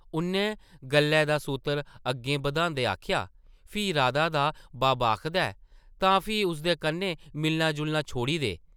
उʼन्नै गल्लै दा सूतर अग्गें बधांदे आखेआ, फ्ही राधा दा बब्ब आखदा ऐ तां फ्ही उसदे कन्नै मिलना-जुलना छोड़ी दे ।